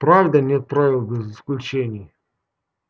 правда нет правила без исключения